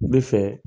Ne fɛ